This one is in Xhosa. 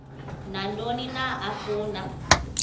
nantoni na afuna